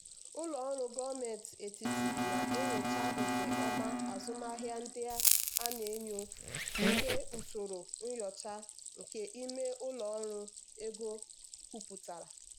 ụlọ ọrụ gọọmenti etiti na-enyocha nke ọma azụmahịa ndị a na-enyo nke usoro nyocha nke ime ụlọ ọrụ ego kwupụtara.